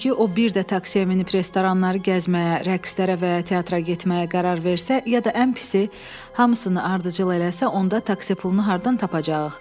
Çünki o bir də taksiyə minib restoranları gəzməyə, rəqslərə və teatra getməyə qərar versə, ya da ən pisi, hamısını ardıcıl eləsə, onda taksi pulunu hardan tapacağıq?